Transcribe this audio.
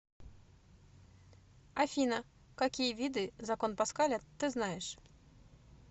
афина какие виды закон паскаля ты знаешь